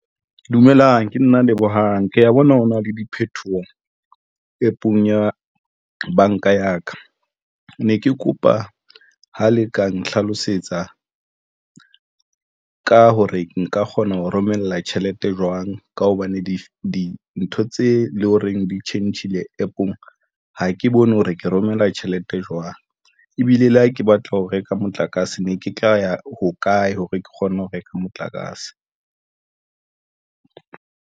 Dumelang ke nna Lebohang ke ya bona ho na le diphetoho APP-ong ya banka ya ka ne ke kopa ha le ka nhlalosetsa ka hore nka kgona ho romella tjhelete jwang ka hobane dintho tse leng horeng di tjhentjhile APP-ong. Ha ke bone hore ke romela tjhelete jwang ebile le ha ke batla ho reka motlakase ne ke tla ya ho kae hore ke kgone ho reka motlakase.